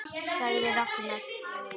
sagði Ragnar.